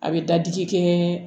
A bɛ dadigi kɛɛ